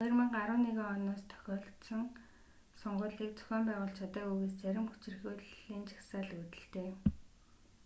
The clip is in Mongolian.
2011 оноос тохиолдсон сонгуулийг зохион байгуулж чадаагүйгээс зарим хүчирхийллийн жагсаал үүдэлтэй